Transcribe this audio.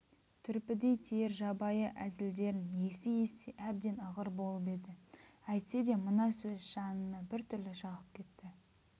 түрпідей тиер жабайы әзілдерін ести-ести әбден ығыр болып еді әйтсе де мына сөз жанына біртүрлі жағып кетті